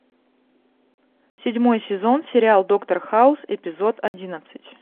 седьмой сезон сериал доктор хаус эпизод одиннадцать